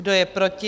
Kdo je proti?